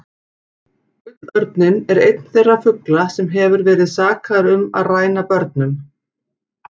Gullörninn er einn þeirra fugla sem hefur verið sakaður um að ræna börnum.